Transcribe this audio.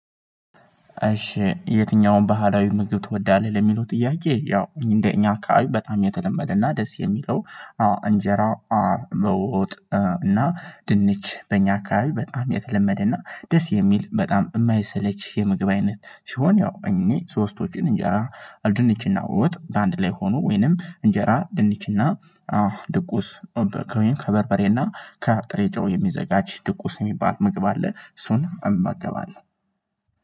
እሺ የትኛውም ባህላዊ ምግብ ትወዳለህ? ለሚለው ጥያቄ ያው እንደኛ አካባቢ በጣም የተለመደ እና ደስ የሚለው አ እንጀራ አ ዶሮ ወጥ እና ድንች በእኛ አካባቢ በጣም የተለመደ ደስ የሚል በጣም የማይሰለች የምግብ አይነት። ሲሆን ያው እኔ ሶስቶችን እንጀራ ድንችና ወጥ በአንድ ላይ ሆኖ ወይንም እንጀራ ድንችና አዎ ድቁስ ከበርበሬና ከአብጥሬ ጨው የሚዘጋጅ ድቁስ የሚባል ምግብ አለ። እሱን እመገባለሁ።